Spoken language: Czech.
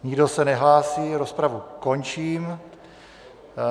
Nikdo se nehlásí, rozpravu končím.